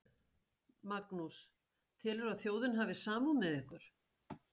Magnús: Telurðu að þjóðin hafi samúð með ykkur?